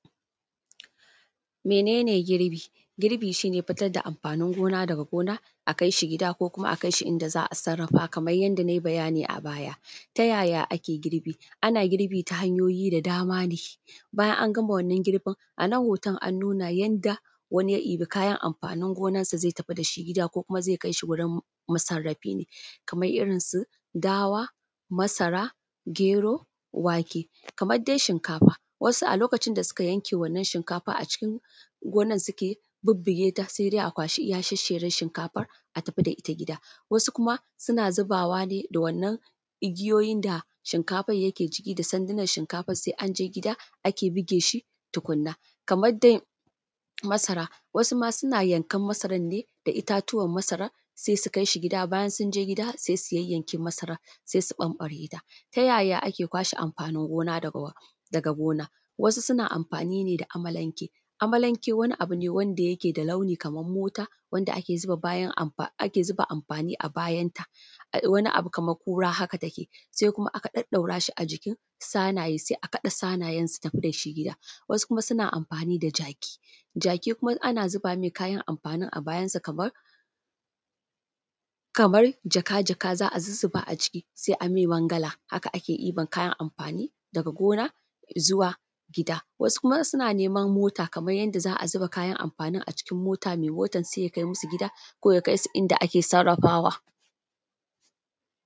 Mene ne girbi? Girbi shi ne fitar da amfanin gona a kai shi gida ko kuma a kai shi inda za a sarrafa kamar yanda na yi bayani a baya. Ta yaya ake girbi? Ana girbi ta hanyoyi da dama ne, bayan an gama wannan girbin, a nan hoton an nuna yanda wani ya ɗibi kayan amfanin gonansa zai kai shi gida ko kuma zai kai shi wurin masarrafi ne, kamar irinsu; dawa, masara, gero, wake. Kamar dai shinkafa, wasu a lokacin da suka yanke wannan shinkafa acikin gonan suke bubbugeta sai dai a kwashi iya shessheren shinkafan a tafi da ita gida. Wasu kuma suna zubawa ne da wannan igiyoyin da shinkafan yake ciki da sandunan shinkafan, sai anje gida ake buge shi tukuna. Kamar dai masara, wasu ma suna yankan masaran ne da itatuwan masaran sai su kai shi gida, bayan sun je sai su yayyanke masaran sai su ɓamɓareta. Ta yaya ake kwashe amfanin gona daga gona? Wasu suna amfani ne da amalanke, amalanke wani abu ne wanda yake da launi kamar mota wanda ake zuba bayan abu, ake zuba amfani a bayanta, wani kamar kura haka take, sai kuma aka ɗaɗɗaura shi a jikin sanaye, sai a kaɗe sanayen su tafi da shi gida. Wasu kuma suna amfani da jaki, jaki kuma ana zuba mai kayan amfanin a bayansa kamar, kamar jaka-jaka za a zuzzuba aciki sai a mai mangala, haka ake ɗiban kayan amfani daga gona zuwa gida. Wasu kuma suna neman mota, kamar yanda za a zuba kayan amfanin acikin mota mai motan sai ya kai musu gida, ko ya kai su inda ake sarrafawa.